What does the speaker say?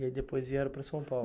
E aí depois vieram para São Paulo.